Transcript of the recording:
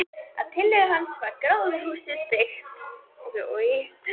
Að tillögu hans var gróðurhúsið byggt.